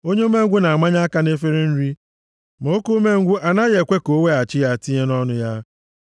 Onye umengwụ na-amanye aka nʼefere nri + 26:15 Maọbụ, ọkụ nri ma oke umengwụ a naghị ekwe ka o weghachi ya tinye nʼọnụ ya.